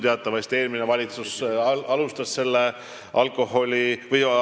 Teatavasti eelmine valitsus alustas aktsiisiralliga.